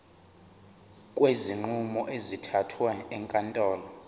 kwezinqumo ezithathwe ezinkantolo